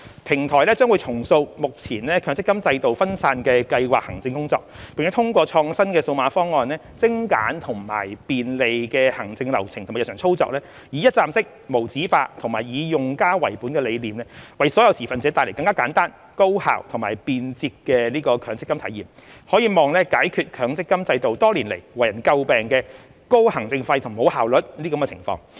平台將重塑目前強積金制度分散的計劃行政工作，並通過創新的數碼方案精簡和便利的行政流程和日常操作，以一站式、無紙化及以用家為本的理念，為所有持份者帶來更簡單、高效及便捷的強積金體驗，可望解決強積金制度多年來為人詬病的"高行政費及無效率"的情況。